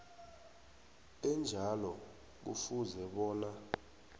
enjalo kufuze bona